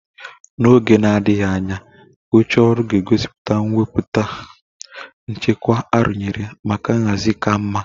Na oge na-adịghị anya, oche oru ga-egosipụta ngwọta nchekwa arụnyere maka nhazi ka mma.